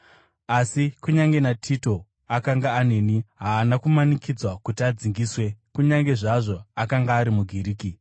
Asi kunyange naTito, akanga aneni, haana kumanikidzwa kuti adzingiswe, kunyange zvazvo akanga ari muGiriki.